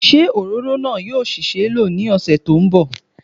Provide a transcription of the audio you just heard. Ṣé òróró náà yóò ṣì ṣeé lò ní ọ̀sẹ̀ tí ó ń bọ̀